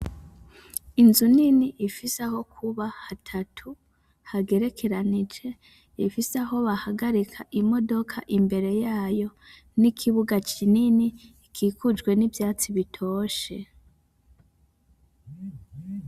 Inzu nini ifise aho kuba hatatu ,hagerekeranije ifise aho bahagarika imodoka imbere yayo ,n’ikibuga kinini gikikujwe n’ivyatsi bitoshe.